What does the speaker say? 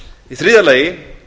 í þriðja lagi